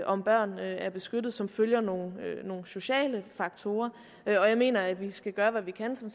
om børnene er beskyttet som følger nogle sociale faktorer og jeg mener at vi skal gøre hvad vi kan for